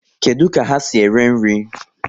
Kedụ ka ha si ere nri?